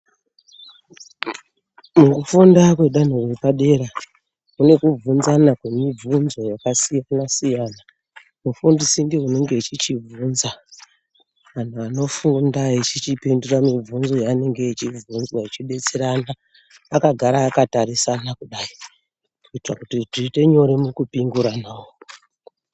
Mukufunda kwedanho repadera mune kubvunzana kwemibvunzo yakasiyana siyana . Mufundisi ndiye unenge achichibvunza vanofunda , vanhu vanofunda veichipindura mibvunzo yavanenge vachibvunzwa vechidetserarana vakagara vakatarisana kudayi kuti zviite nyore mukupingurana.